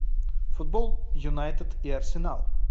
футбол юнайтед и арсенал